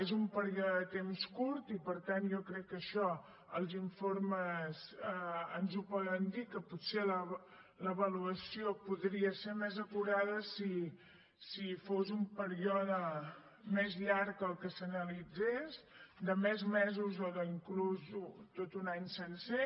és un període de temps curt i per tant jo crec que això els informes ens ho poden dir que potser l’avaluació podria ser més acurada si fos un període més llarg el que s’analitzés de més mesos o d’inclús tot un any sencer